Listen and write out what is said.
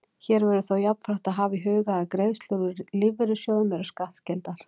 Hér verður þó jafnframt að hafa í huga að greiðslur úr lífeyrissjóðum eru skattskyldar.